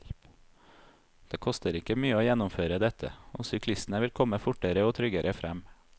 Det koster ikke mye å gjennomføre dette, og syklistene ville komme fortere og tryggere frem.